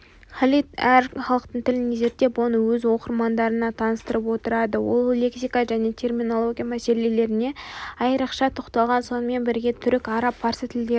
халид әр халықтың тілін зерттеп оны өз оқырмандарына таныстырып отырады ол лексика және терминология мәселелеріне айрықша тоқталған сонымен бірге түрік араб парсы тілдерін